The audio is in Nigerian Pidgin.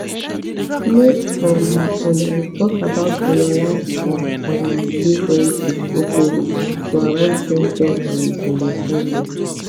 make um una dey talk about una lifestyle um differences openly to avoid ten sion and misunderstanding